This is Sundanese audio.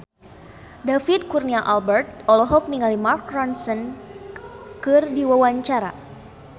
David Kurnia Albert olohok ningali Mark Ronson keur diwawancara